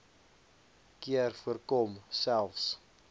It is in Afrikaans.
keer voorkom selfs